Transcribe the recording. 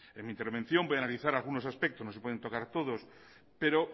en mi intervención voy a analizar algunos aspectos no se pueden tocar todos pero